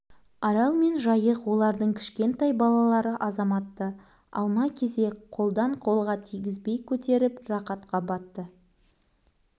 арал мен жайық олардың кішкентай балалары азаматты алма-кезек қолдан-қолға тигізбей көтеріп рақатқа батты